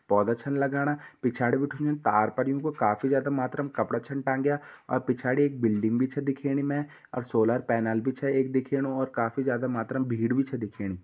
पौधा छन लगणा पिछाड़ी बिटिन तार पर काफी जादा मात्रा मे कपडा छन टाँगया और पिछड़ी एक बिल्डिंग भी छे दिखेणी मे और सोलर पैनल भी छ एक दिखेणू और काफी ज्यादा मात्रा में भीड़ भी छ दिखणी।